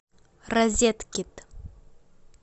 розеткед